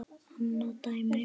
Annað dæmi.